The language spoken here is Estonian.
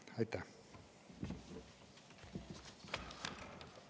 Aitäh!